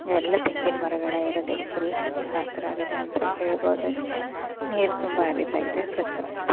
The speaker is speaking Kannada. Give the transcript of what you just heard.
ಎಲ್ಲಾ ತೆಂಗಿನ ಮರಗಳೆ ಇರೋದ ಇಲ್ಲಿ ಫುಲ್ ಹಚ್ಚ ಹಸಿರಾಗಿದೆ ಅಂತ ಹೇಳಬಹುದು ಅಷ್ಟೇ ನೀರ ತುಂಬಾ ಹರಿತಾ ಇದೆ ಸ್ವಚ್ಛವಾಗಿದೆ.